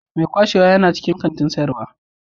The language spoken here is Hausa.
Mai kwashewa yana cikin kantin sayarwa.